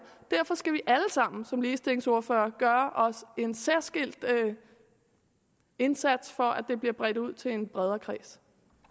derfor skal vi alle sammen som ligestillingsordførere gøre en særskilt indsats for at det bliver bredt ud til en bredere kreds